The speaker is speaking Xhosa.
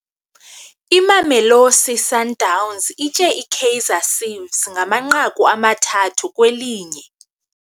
Imamelosi Sundowns itye iKaizer Ciefs ngamanqaku amathathu kwelinye.